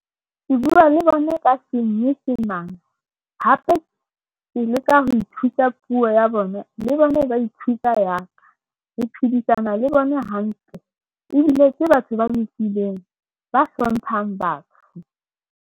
Ke bua le bona ka senyesemane. Hape ke leka ho ithuta puo ya bona. Le bona ba ithuta ya ka. Re phedisana le bona hantle, ebile ke batho ba lokileng, ba hlomphang batho.